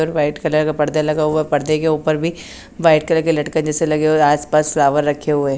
White colour का पर्दे लगा हुआ पर्दे के ऊपर भी व्हाइट कलर के लटकन जैसे लगे और आसपास फ्लावर रखे हुए।